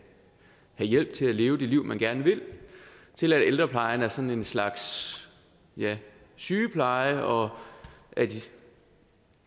hjælp til at leve det liv man gerne vil til at ældreplejen er sådan en slags sygepleje og at